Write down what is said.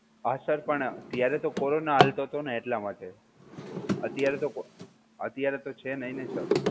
હા sir પણ ત્યારે તો corona હાલતો 'તો નો એટલા માટે, અત્યારે તો છે નઈ ને sir